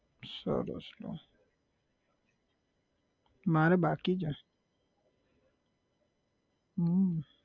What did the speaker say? સરસ લો મારે બાકી છે હમ